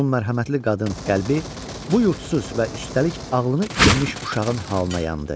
Onun mərhəmətli qadın qəlbi bu yurdsuz və üstəlik ağılını itirmiş uşağın halına yandı.